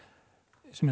sem er